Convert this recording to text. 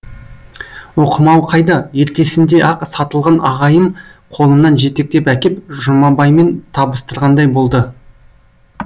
оқымау қайда ертесінде ақ сатылған ағайым қолымнан жетектеп әкеп жұмабаймен табыстырғандай болды